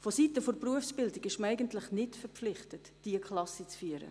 Vonseiten der Berufsbildung ist man eigentlich nicht verpflichtet, diese Klassen zu führen.